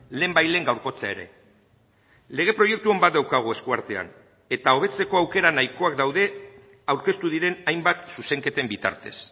lehenbailehen gaurkotzea ere lege proiektu on bat daukagu eskuartean eta hobetzeko aukera nahikoak daude aurkeztu diren hainbat zuzenketen bitartez